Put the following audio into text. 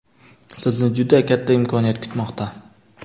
Sizni juda katta imkoniyat kutmoqda!.